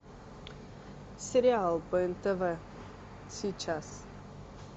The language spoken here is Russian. сериал по нтв сейчас